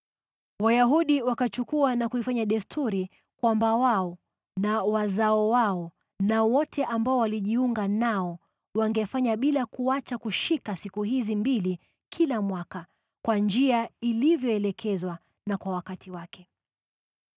Wayahudi wakachukua na kuifanya desturi kwamba wao na wazao wao na wote ambao walijiunga nao wangefanya bila kuacha kushika siku hizi mbili kila mwaka, kwa njia ilivyoelekezwa na kwa wakati wake.